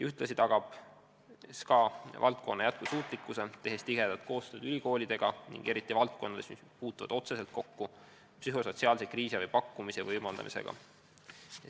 Ühtlasi tagab SKA valdkonna jätkusuutlikkuse, tehes tihedat koostööd ülikoolidega, seda eriti valdkondades, kus puututakse otseselt kokku psühhosotsiaalse kriisiabi pakkumise võimaldamisega.